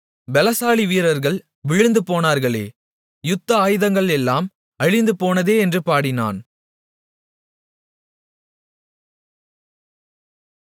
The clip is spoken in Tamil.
பெலசாலி வீரர்கள்கள் விழுந்துபோனார்களே யுத்த ஆயுதங்கள் எல்லாம் அழிந்துபோனதே என்று பாடினான்